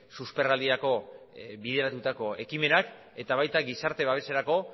susperraldirako bideratutako ekimenak eta baita gizarte babeserako